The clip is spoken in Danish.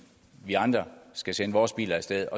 vi andre skal sende vores biler af sted